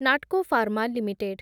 Natco pharma limited